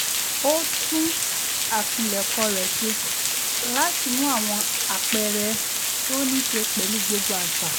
ó tún àpilẹ̀kọ rẹ̀ ṣe láti mú àwọn àpẹẹrẹ tó níṣe pẹ̀lú gbogbo àṣà